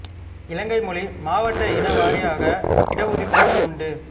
இலங்கை மொழி மாவட்ட இன வாரியாக இட ஒதுக்கீடு உண்டு